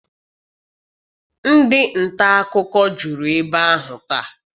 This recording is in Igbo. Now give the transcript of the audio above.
Ndị nta akụkọ juru ebe ahụ taa.